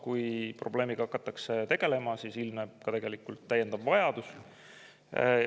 Kui probleemiga hakatakse tegelema, siis ilmneb ka täiendav vajadus.